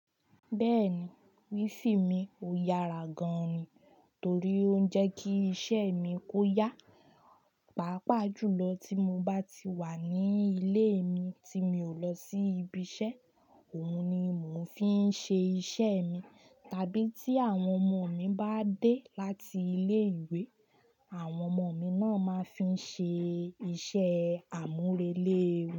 Bẹ́ẹ̀ni, wifi mi ò yára gan ni, torí ó ń jẹ́ kí iṣẹ́ mi kó yá. Pàápàá jùlọ tí mo bá ti wà ní ilé mi tí mi ò lọ sí ibi iṣẹ́, òhun ni mò fi ń ṣe iṣẹ́ mi. Tàbí tí àwọn ọmọ mi bá dé láti ilé-ìwé, àwọn ọmọ mi náà máa ń fi ń ṣe iṣẹ́ àmúrelé.